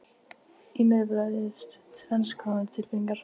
Í mér bærðust tvenns konar tilfinningar.